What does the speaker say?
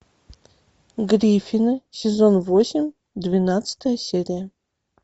гриффины сезон восемь двенадцатая серия